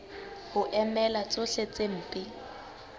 ho emela tsohle tse mpe